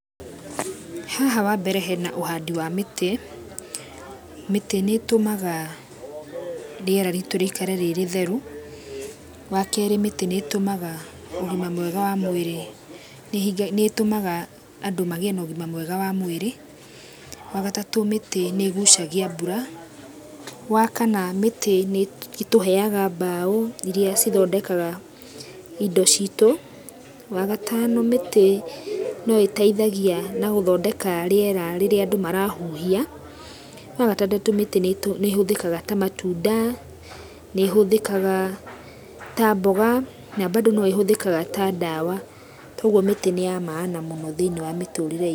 Haha wa mbere hena ũhandi wa mĩtĩ. Mĩtĩ nĩ ĩtũmaga rĩera ritũ rĩikare rĩrĩtheru, wa keri mĩtĩ nĩ ĩtũmaga ũgima mwega wa mwĩrĩ, nĩ ĩtũmaga andũ magĩe na ũgima mwega wa mwĩrĩ. Wa gatatũ mĩtĩ nĩ ĩgucagia mbura. Wa kana mĩtĩ nĩ ĩtũheaga mbaũ iria cithondekaga indo citũ. Wa gatano mĩtĩ no ĩteithagia na gũthondeka rĩera rĩrĩa andũ marahuhia. Wa gatandatu mĩtĩ nĩ ĩhũthĩkaga ta matunda, nĩ ĩhuthĩkaga ta mboga, na mbandũ no ĩhũthĩkaga ta ndawa. Toguo mĩtĩ nĩ ya maana mũno thĩinĩ wa mĩtũrĩre itũ.